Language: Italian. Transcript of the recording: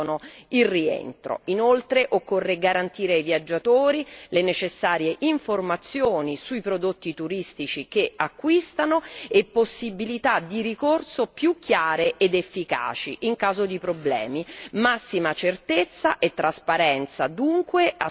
Inoltre occorre garantire ai viaggiatori le necessarie informazioni sui prodotti turistici che acquistano e possibilità di ricorso più chiare ed efficaci in caso di problemi, massima certezza e trasparenza dunque a tutela dei consumatori.